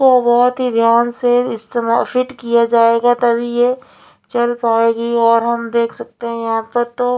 और बहुत ही ध्यान से इस्तिमा फ़िट किया जाएगा तभी ये चल पाएगी और हम देख सकते हैं यहाँ पर तो--